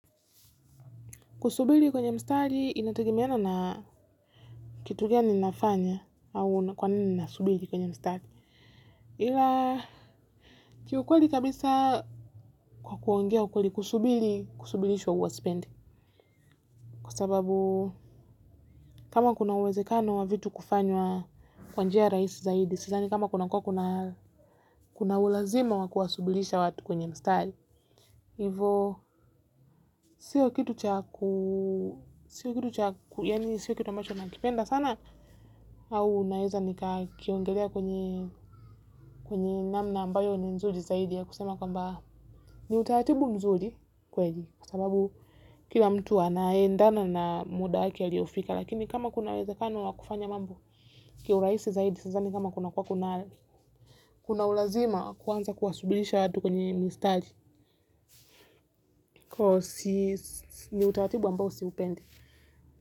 Kusubiri kwenye mstari inategemeana na kitu gani nafanya au kwa nini nasubiri kwenye mstari. Ila kiukweli kabisa kwa kuongea ukweli kusubiri kusubirishwa huwa sipendi. Kwa sababu kama kuna uwezekano wa vitu kufanywa kwa njia rahisi zaidi sidhani kama kuwa kuna ulazima wa kuwasubirisha watu kwenye mstari. Hivo sio kitu cha ku sio kitu cha ku yaani sio kitu ambacho nakipenda sana, au naeza nikakiongelea kwenye kwenye namna ambayo ni nzuri zaidi ya kusema kwamba ni utaratibu mzuri kweli kwa sababu kila mtu anaendana na muda wake aliofika lakini kama kuna uwezakano wa kufanya mambo kiurahisi zaidi, sasa ni kama kuna kuwa kuna kuna ulazima kuanza kuwasubirisha watu kwenye mistari huo si ni utaratibu ambayo siupendi.